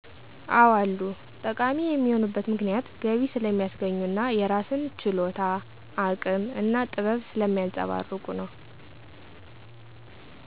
አዎ አሉ። ጠቃሚ የሆኑበት ምክንያት ገቢ ስለሚያስገኙ እና የራስን ችሎታ፣ አቅም እና ጥበብ ስለሚያንፀባርቁ ነው።